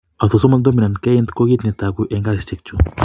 Autosomal dominant keiint ko kiit ne togu eng' kesisiek chu.